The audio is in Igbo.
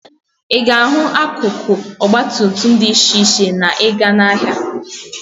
Ị ga-ahụ akụkụ ọgbatumtum dị iche iche na ị gaa n'ahịa.